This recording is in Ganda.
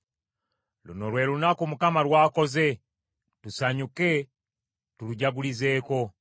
Luno lwe lunaku Mukama lw’akoze; tusanyuke tulujagulizeeko.